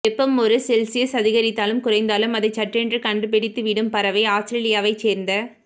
வெப்பம் ஒரு செல்சியஸ் அதிகரித்தாலும் குறைந்தாலும் அதை சட்டென்று கண்டுபிடித்து விடும் பறவை ஆஸ்திரேலியாவைச் சேர்ந்த